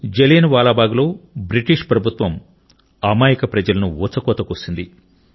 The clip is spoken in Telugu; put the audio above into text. జలియన్ వాలా బాగ్లో బ్రిటిష్ ప్రభుత్వం అమాయక ప్రజలను ఊచకోత కోసింది